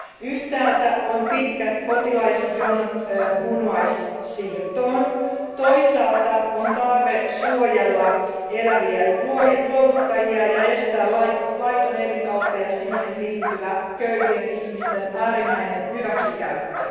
Yhtäällä on pitkät potilasjonot munuaissiirtoon, toisaalla on tarve suojella eläviä luovuttajia ja estää laiton elinkauppa ja siihen liittyvä köyhien ihmisten äärimmäinen hyväksikäyttö.